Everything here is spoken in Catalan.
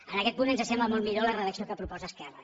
en aquest punt ens sembla molt millor la redacció que proposa esquerra